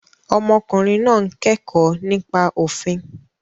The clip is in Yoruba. Ọmọkùnrin náà ń kẹ́kọ̀ọ́ nípa òfin.